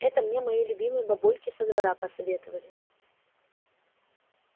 это мне мои любимые бабульки со двора посоветовали